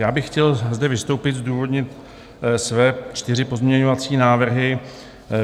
Já bych chtěl zde vystoupit, zdůvodnit své čtyři pozměňovací návrhy.